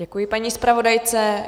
Děkuji paní zpravodajce.